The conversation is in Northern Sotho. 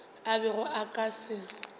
a bego a ka se